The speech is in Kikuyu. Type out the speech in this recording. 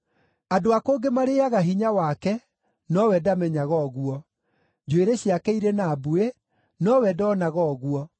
Andũ a kũngĩ marĩĩaga hinya wake, nowe ndamenyaga ũguo. Njuĩrĩ ciake irĩ na mbuĩ, nowe ndoonaga ũguo.